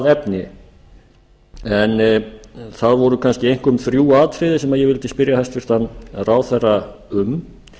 efni en það voru kannski einkum þrjú atriði sem ég vildi spyrja hæstvirtan ráðherra um